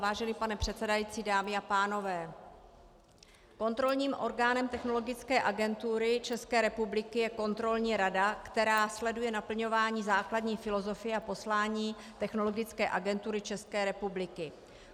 Vážený pane předsedající, dámy a pánové, kontrolním orgánem Technologické agentury České republiky je Kontrolní rada, která sleduje naplňování základní filozofie a poslání Technologické agentury České republiky.